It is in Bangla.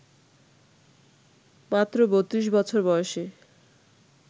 মাত্র ৩২ বছর বয়সে